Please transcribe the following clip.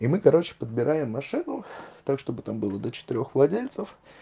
и мы короче подбираем машину так чтобы там было до четырёх владельцев